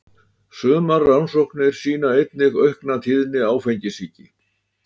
sumar rannsóknir sýna einnig aukna tíðni áfengissýki